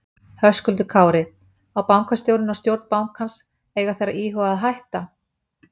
Höskuldur Kári: Á bankastjórinn og stjórn bankans, eiga þeir að íhuga að hætta?